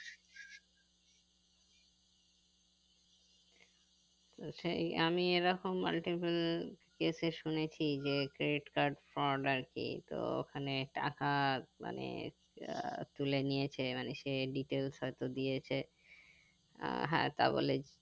সেই আমি এরকম multiple case এ শুনেছি যে credit card ford আরকি তো ওখানে টাকা মানে আহ তুলে নিয়েছে মানে সে details হয়তো দিয়েছে আহ হ্যাঁ তা বলে